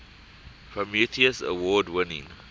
prometheus award winning